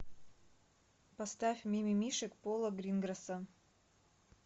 поставь мимимишек пола гринграсса